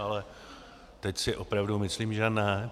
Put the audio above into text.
Ale teď si opravdu myslím že ne.